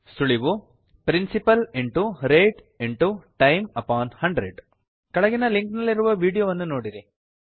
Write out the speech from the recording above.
ಸುಳಿವು160 principal rate time upon 100 ಕೆಳಗಿನ link ನಲ್ಲಿರುವ ವೀಡಿಯೋವನ್ನು ನೋಡಿರಿ